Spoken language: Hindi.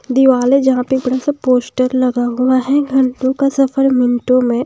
दीवाल है यहां पे एक बड़ा सा पोस्टर लगा हुआ है घंटों का सफर मिनटों में।